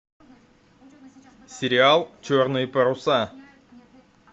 сериал черные паруса